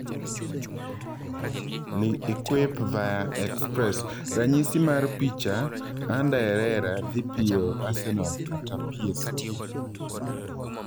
(L'Equipe, via Express) Ranyisi mar picha, Ander Herrera dhii piyo Arsenal kata PSG?